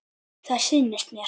Það sýnist mér.